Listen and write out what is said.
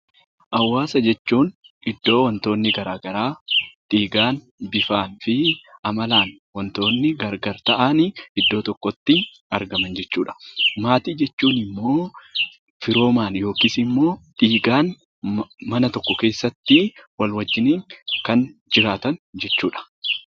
Hawaasa jechuun iddoo wantoonni garaa garaa dhiigaan, bifaa fi amalaan wantoonni gargar ta'anii iddoo tokkotti argaman jechuu dha. Maatii jechuun immoo firoomaan yookiis immoo dhiigaan mana tokko keessatti walii wajjiniin kan jiraatan jechuu dha.